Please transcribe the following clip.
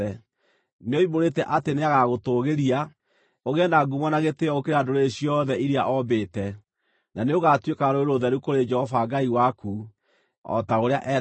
Nĩoimbũrĩte atĩ nĩagagũtũũgĩria, ũgĩe na ngumo na gĩtĩĩo gũkĩra ndũrĩrĩ ciothe iria oombĩte, na nĩũgatuĩka rũrĩrĩ rũtheru kũrĩ Jehova Ngai waku, o ta ũrĩa eeranĩire.